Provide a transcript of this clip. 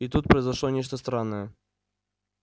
и тут произошло нечто странное